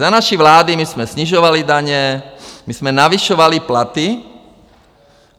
Za naší vlády my jsme snižovali daně, my jsme navyšovali platy.